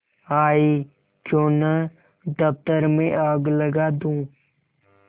आयीक्यों न दफ्तर में आग लगा दूँ